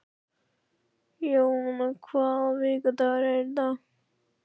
Jóanna, hvaða vikudagur er í dag?